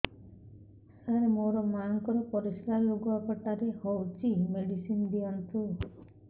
ସାର ମୋର ମାଆଙ୍କର ପରିସ୍ରା ଲୁଗାପଟା ରେ ହଉଚି ମେଡିସିନ ଦିଅନ୍ତୁ